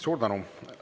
Suur tänu!